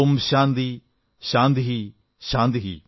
ഓം ശാന്തിഃ ശാന്തിഃ ശാന്തിഃ